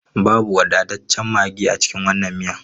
Babu wadataccen maggi a cikin wannan miyan.